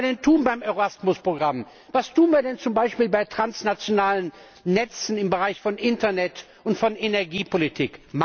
Was können wir denn tun beim Erasmus Programm? Was tun wir denn zum Beispiel bei transnationalen Netzen im Bereich von Internet und Energiepolitik?